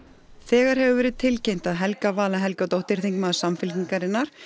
þegar hefur verið tilkynnt að Helga Vala Helgadóttir þingmaður Samfylkingarinnar